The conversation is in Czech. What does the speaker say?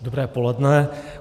Dobré poledne.